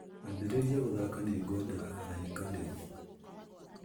ambĩrĩria gũthaaka nĩ ngwenda araika rĩu